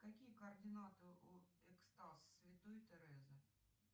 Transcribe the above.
какие координаты у экстаз святой терезы